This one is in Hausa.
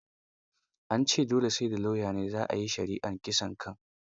An ce dole sai da lauya za a yi shari'ar kisaan kai.